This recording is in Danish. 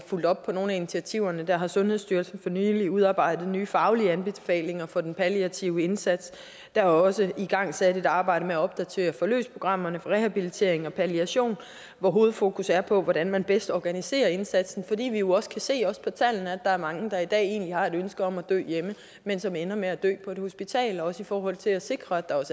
fulgt op på nogle af initiativerne der har sundhedsstyrelsen for nylig udarbejdet nye faglige anbefalinger for den palliative indsats der er også igangsat et arbejde med at opdatere forløbsprogrammerne for rehabilitering og palliation hvor hovedfokus er på hvordan man bedst organiserer indsatsen fordi vi jo også kan se også på tallene at der er mange der i dag har et ønske om at dø hjemme men som ender med at dø på et hospital det er også i forhold til at sikre at der